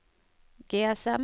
GSM